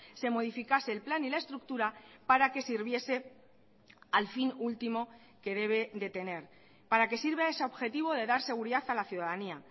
se modificase el plan y la estructura para que sirviese al fin último que debe de tener para que sirva a ese objetivo de dar seguridad a la ciudadanía